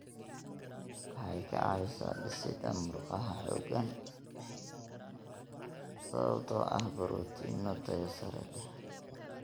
Waxay ka caawisaa dhisidda murqaha xooggan sababtoo ah borotiinno tayo sare leh.